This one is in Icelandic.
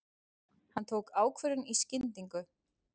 Hann tók ákvörðun í skyndingu.